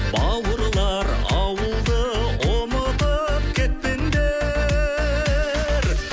бауырлар ауылды ұмытып кетпеңдер